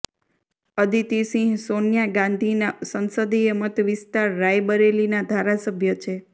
અદિતિ સિંહ સોનિયા ગાંધીના સંસદીય મત વિસ્તાર રાયબરેલીના ધારાસભ્ય છે